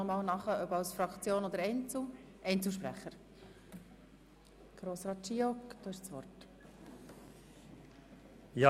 Ich gebe Grossrat Giauque als Einzelsprecher das Wort.